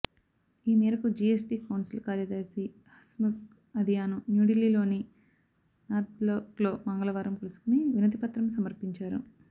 ఈ మేరకు GST council కార్యదర్శి హస్ముఖ్ అధియాను న్యూఢిల్లీలోని నార్త్బ్లాక్లో మంగళవారం కలుసుకుని వినతిపత్రం సమర్పించారు